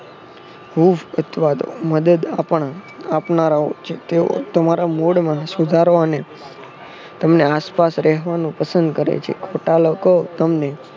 હુંફ અથવા તો મદદ આપનારાઓ છે તેઓ તમારા મોડમાં સુધારો અનેતમને આસપાસ રહેવાનો પસંદ કરે છે. ખોટા લોકો તમને